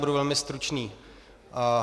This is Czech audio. Budu velmi stručný.